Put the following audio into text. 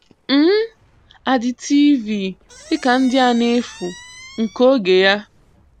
um Adị TV dị ka ndị a n’efu nke ògé ya.